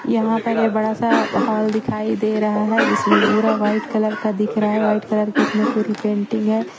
यहाँ पर ये बड़ा सा हॉल दिखाई दे रहा है जिसमें पूरा व्हाईट कलर का दिख रहा है व्हाईट कलर की इसमें पूरी पेंटिंग है।